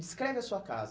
Descreve a sua casa.